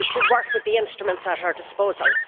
we should work with the instruments at our disposal.